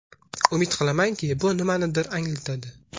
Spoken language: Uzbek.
Umid qilamanki, bu nimanidir anglatadi.